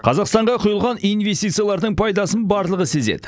қазақстанға құйылған инвестициялардың пайдасын барлығы сезеді